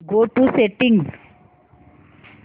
go to settings